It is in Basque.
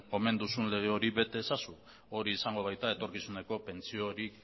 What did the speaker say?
omen duzun lege hori bete ezazu hori izango baita etorkizuneko pentsio hori